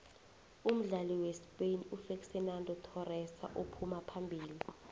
umdlali wespain ufexenando thorese uphuma phambili